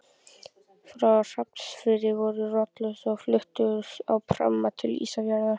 Frá Hrafnsfirði voru rollurnar svo fluttar á pramma til Ísafjarðar.